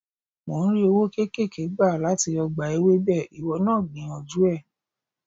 Mò ń rí owó kéékèèké gbà láti ọgbà Ewébẹ̀, ìwọ náà gbìyànjú ẹ̀.